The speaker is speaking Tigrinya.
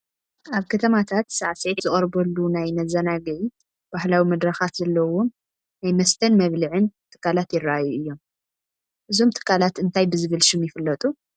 ኣብ ከተማታት ሳዕስዒት ዝቐርበሉ ናይ መዘናግዒ ባህላዊ መድረኻት ዘለዎም ናይ መስተን መብልዕን ትካላት ይርአዩ እዮም፡፡ እዞም ትካላት እንታይ ብዝብል ሽም ይፍለጡ?